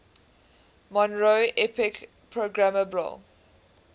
monroe epic programmable